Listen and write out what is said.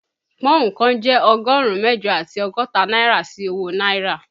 Pọ́ùn kan jẹ́ ọgọ́rùn-ún mẹ́jọ àti ọgọ́ta náírà sí owó náírà